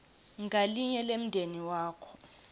ngalinye lemndeni wakho